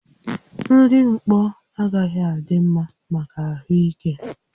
Nri mkpọ agaghị adị mma maka ahụ ike